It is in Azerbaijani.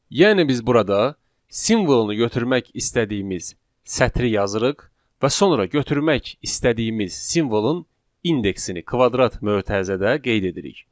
Yəni biz burada simvolu götürmək istədiyimiz sətri yazırıq və sonra götürmək istədiyimiz simvolun indeksini kvadrat mötərizədə qeyd edirik.